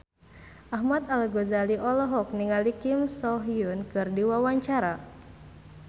Ahmad Al-Ghazali olohok ningali Kim So Hyun keur diwawancara